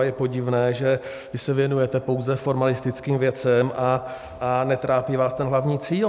A je podivné, že vy se věnujete pouze formalistickým věcem a netrápí vás ten hlavní cíl.